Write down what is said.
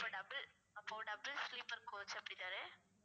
அப்ப double அப்போ double sleeper coach அப்படித்தான